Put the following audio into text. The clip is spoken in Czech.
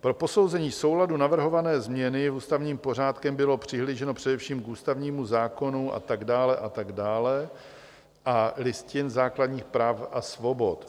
Pro posouzení souladu navrhované změny ústavním pořádkem bylo přihlíženo především k ústavnímu zákonu a tak dále, a tak dále a Listině základních práv a svobod.